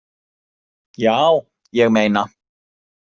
Já, ég meina.